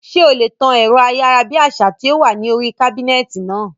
Ṣé o lè tan ẹ̀rọ ayárabíàṣá tí ó wà ní oríi kábínẹ̀tì náà?